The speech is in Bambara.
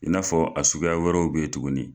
I n'a fɔ a suguya wɛrɛw bɛ ye tuguni.